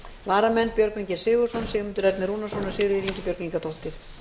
varamenn eru björgvin g sigurðsson sigmundur ernir rúnarsson og sigríður ingibjörg ingadóttir